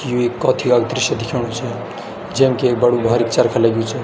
यु एक कौथिग क दृश्य दिख्योणु च जैम कि एक बडू भारीक चरखा लग्युं च।